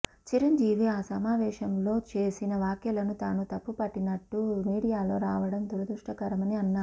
చిరంజీవి ఆ సమావేశంలో చేసిన వ్యాఖ్యలను తాను తప్పుపట్టినట్లు మీడియాలో రావడం దురదృష్టకరమని అన్నారు